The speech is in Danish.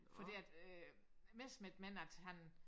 Fordi at øh Messerschmidt mener at han